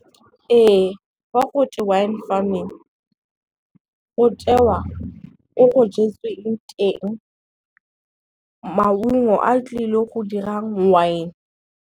Ee fa go twe wine farming, go tewa ko go jetsweng teng maungo a tlile go dirang wine.